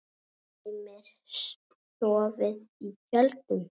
Heimir: Sofið í tjöldum?